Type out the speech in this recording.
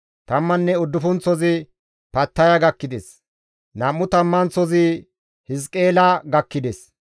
Tamman uddufunththozi Pattaya gakkides; nam7u tammanththazi Hiziqeela gakkides;